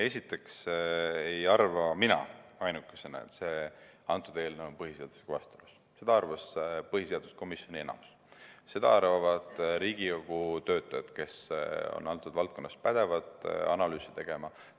Esiteks ei arva mina ainukesena, et see eelnõu on põhiseadusega vastuolus, seda arvas põhiseaduskomisjoni enamus, seda arvavad Riigikogu töötajad, kes on antud valdkonnas pädevad analüüsi tegema.